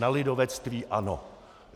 Na lidovectví ano.